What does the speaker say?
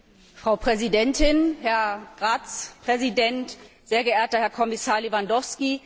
Frau Präsidentin, Herr Ratspräsident, sehr geehrter Herr Kommissar Lewandowski!